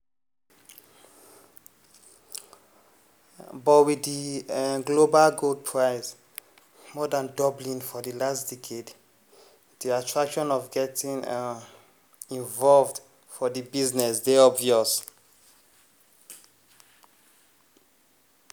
but wit di global gold price more dan doubling for di last decade di attraction of getting involved for di business dey obvious.